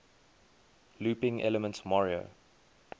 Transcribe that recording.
looping elements mario